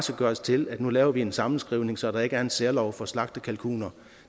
gøres til at nu laver vi en sammenskrivning så der ikke er en særlov for slagtekalkuner